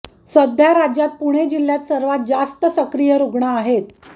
सध्या राज्यात पुणे जिल्ह्यात सर्वात जास्त सक्रिय रुग्ण आहेत